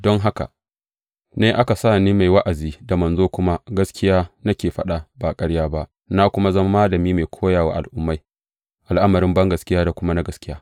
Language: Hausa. Don haka ne aka sa ni mai wa’azi, da manzo kuma, gaskiya nake faɗa, ba ƙarya ba, na kuma zama malami mai koya wa al’ummai al’amarin bangaskiya da kuma na gaskiya.